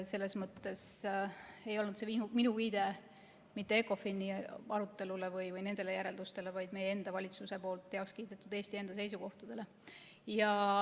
Selles mõttes ei olnud minu viide mitte ECOFIN-i arutelule või nendele järeldustele, vaid meie enda valitsuses heaks kiidetud Eesti enda seisukohtadele.